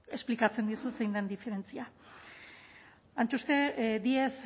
esplikatzen dizut zein den diferentzia díez